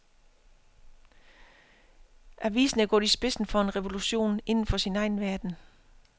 Avisen er gået i spidsen for en revolution inden for sin egen verden.